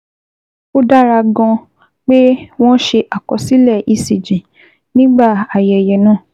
Ó dára gan-an pé wọ́n ṣe àkọsílẹ̀ ECG nígbà ayẹyẹ náà